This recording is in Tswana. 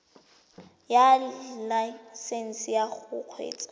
ya laesesnse ya go kgweetsa